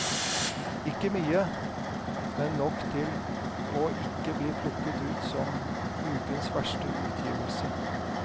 Ikke mye, men nok til å ikke bli plukket ut som ukens verste utgivelse.